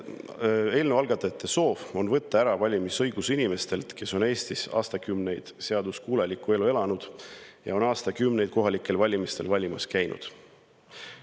Eelnõu algatajate soov on võtta ära valimisõigus inimestelt, kes on Eestis aastakümneid seaduskuulekat elu elanud ja aastakümneid kohalikel valimistel valimas käinud.